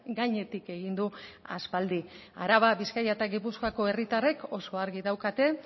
gainetik egin du aspaldi araba bizkaia eta gipuzkoako herritarrek oso argi daukate